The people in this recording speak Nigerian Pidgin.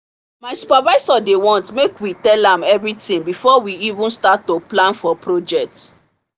my supervisor dey want make we tellam everything before we even start to plan for project